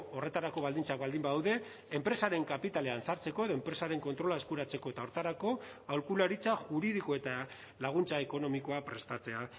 horretarako baldintzak baldin badaude enpresaren kapitalean sartzeko edo enpresaren kontrola eskuratzeko eta horretarako aholkularitza juridiko eta laguntza ekonomikoa prestatzea